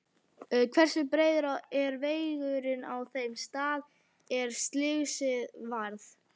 Hversu breiður er vegurinn á þeim stað er slysið varð?